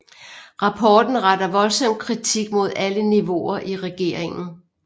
Rapporten retter voldsom kritik mod alle niveauer i regeringen